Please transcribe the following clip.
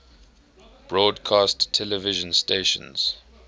broadcast television stations